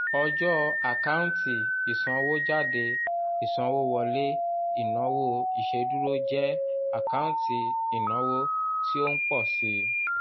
ọjọ́ àkáǹtì ìsanwójáde ìsanwówọlé ìnáwó ìṣèdúró jẹ́ àkáǹtì ìnáwó tí ó ń pọ̀ síi